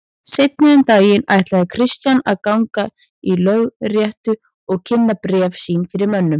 Seinna um daginn ætlaði Christian að ganga í lögréttu og kynna bréf sín fyrir mönnum.